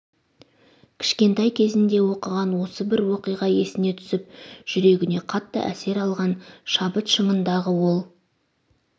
кішкентай кезінде оқыған осы бір оқиға есіне түсіп жүрегіне қатты әсер алған шабыт шыңындағы ол